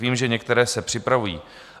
Vím, že některé se připravují.